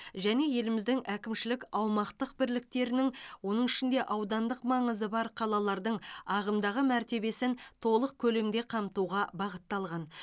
және еліміздің әкімшілік аумақтық бірліктерінің оның ішінде аудандық маңызы бар қалалардың ағымдағы мәртебесін толық көлемде қамтуға бағытталған